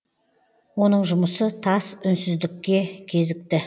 оның жұмысы тас үнсіздікке кезікті